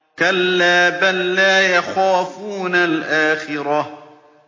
كَلَّا ۖ بَل لَّا يَخَافُونَ الْآخِرَةَ